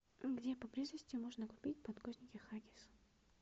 где поблизости можно купить подгузники хаггис